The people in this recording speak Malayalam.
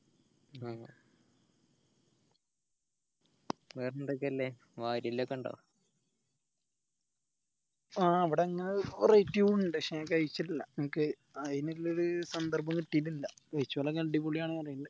ആഹ് വേറെന്തൊക്ക്യാ ഇളേള വാരിയെല്ല് ഒക്കെ ഇണ്ടോ ആഹ് ഇവിടെ അങ്ങനെ ഒരു ഇണ്ട് പക്ഷെ ഞാൻ കഴിച്ചിട്ടില്ല എനിക് അയിനുള്ള ഒരു സന്ദർഭം കിടീട്ടില്ല കഴിച്ചോലൊക്കെ അടിപൊളി ആണെന്ന് പറനിക്കു